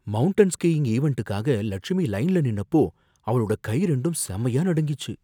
Mountain skiing ஈவண்டுக்காக லட்சுமி லைன்ல நின்னப்போ அவளோட கை ரெண்டும் செமையா நடுங்கிச்சு.